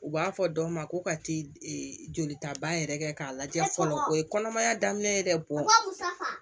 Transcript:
U b'a fɔ dɔ ma ko ka t'i jolita ba yɛrɛ kɛ k'a lajɛ fɔlɔ o ye kɔnɔmaya daminɛ ye dɛ